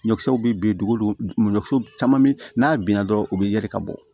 Ɲɔkisɛw bɛ bin duguw ɲɔ caman be n'a binna dɔrɔn u bɛ yɛlɛ ka bɔ